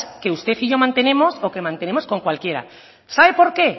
que usted y yo mantenemos o que mantenemos con cualquiera sabe por qué